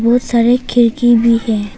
बहुत सारे खिड़की भी है।